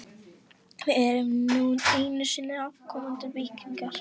Við erum nú einu sinni afkomendur víkinga.